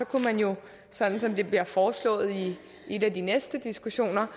kunne man jo sådan som det bliver foreslået i en af de næste diskussioner